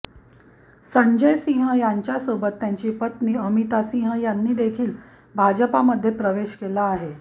संजय सिंह यांच्यासोबत त्यांची पत्नी अमिता सिंह यांनी देखील भाजपमध्ये प्रवेश केला आहे